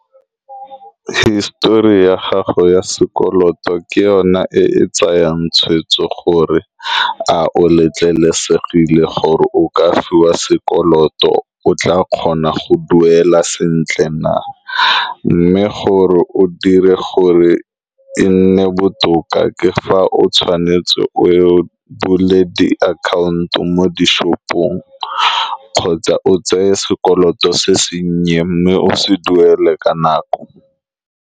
Hisitori ya gago ya sekoloto ke yone e e tsayang tshweetso gore a o letlelesegile gore o ka fiwa sekoloto. O tla kgona go duela sentle na, mme gore o dire gore e nne botoka ke fa o tshwanetse o ye o bule diakhaonto mo di-shop-ong kgotsa o tseye sekoloto se sennye, mme o se duele ka nako.